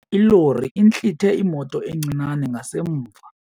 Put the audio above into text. Ilori intlithe imoto encinane ngasemva.